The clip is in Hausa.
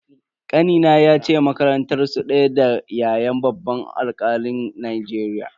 Kanina yace makarantar su daya da ya'yan babban alkalin Najeriya.